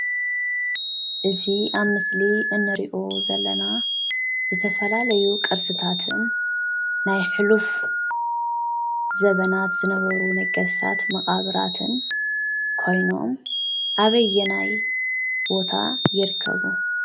እዚ ኣብ ምስሊ እንሪኦ ዘለና ዝተፈላለዩ ቅርስታትን ናይ ሕሉፍ ዘበናት ዝነበሩ ነገሥታት መቓብራትን ኮይኖም ኣበየናይ ቦታ ይርከቡ?